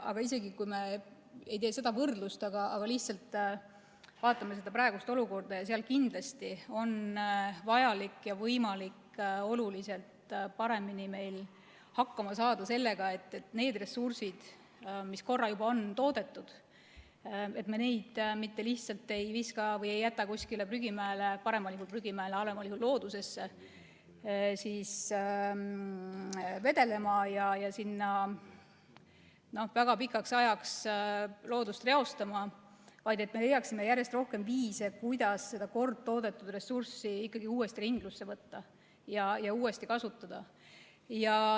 Aga isegi kui me ei tee seda võrdlust, vaid lihtsalt vaatame praegust olukorda, siis on meil kindlasti vajalik ja võimalik oluliselt paremini hakkama saada nende ressurssidega, mis on juba toodetud, nii et me mitte lihtsalt ei viska või ei jäta neid kuskile prügimäele – paremal juhul prügimäele, halvemal juhul loodusesse – vedelema ja väga pikaks ajaks loodust reostama, vaid leiaksime järjest rohkem viise, kuidas seda kord toodetud ressurssi uuesti ringlusse võtta ja uuesti kasutada.